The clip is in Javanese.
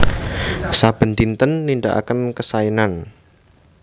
Saben dinten nindhakaken kesaenan